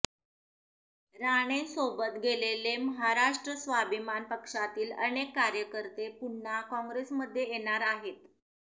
राणेंसोबत गेलेले महाराष्ट्र स्वाभिमान पक्षातील अनेक कार्यकर्ते पुन्हा कॉग्रेसमध्ये येणार आहेत